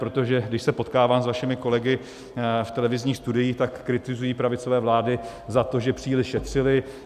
Protože když se potkávám s vašimi kolegy v televizních studiích, tak kritizují pravicové vlády za to, že příliš šetřily.